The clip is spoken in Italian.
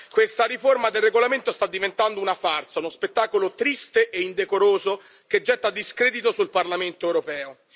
questa riforma del regolamento sta diventando una farsa uno spettacolo triste e indecoroso, che getta discredito sul Parlamento europeo.